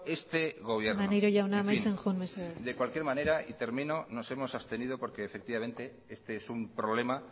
este gobierno maneiro jauna amaitzen joan mesedez de cualquier manera y termino nos hemos abstenido porque efectivamente este es un problema